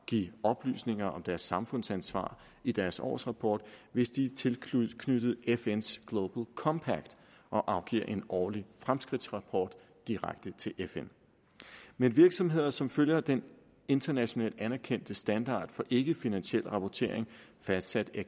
give oplysninger om deres samfundsansvar i deres årsrapport hvis de er tilknyttet fns global compact og afgiver en årlig fremskridtsrapport direkte til fn men virksomheder som følger denne internationalt anerkendte standard for ikkefinansiel rapportering fastsat af